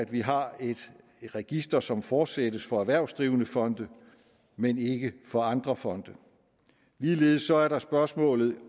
vi har et register som fortsættes for erhvervsdrivende fonde men ikke for andre fonde ligeledes er der spørgsmålet